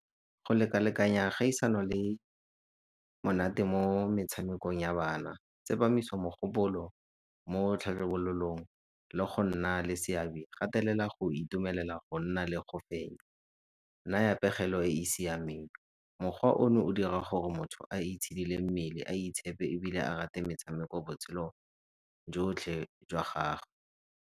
Go leka-lekanya kgaisano le monate mo metshamekong ya bana, tsepamiso mogopolo mo le go nna le seabe. Gatelela go itumelela go nna le go fenya, naya pegelo e e siameng. Mokgwa ono o dira gore motho a itshidile mmele, a itshepe ebile a rate metshameko botshelo jotlhe jwa gage.